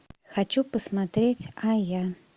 хочу посмотреть а я